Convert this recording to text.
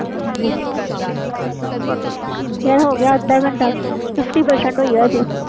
ਯਾਰ ਹੋ ਗਿਆ ਅੱਧਾ ਘੰਟਾ fifty percent ਹੋਈ ਅਜੇ